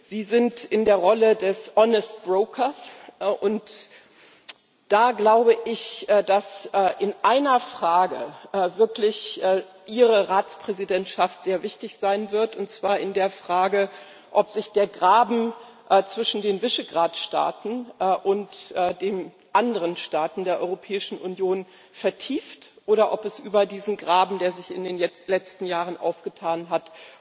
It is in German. Sie sind in der Rolle des honest broker und da glaube ich, dass in einer Frage wirklich Ihre Ratspräsidentschaft sehr wichtig sein wird, und zwar in der Frage, ob sich der Graben zwischen den Visegrád Staaten und den anderen Staaten der Europäischen Union vertieft oder ob es über diesen Graben, der sich in den letzten Jahren aufgetan hat,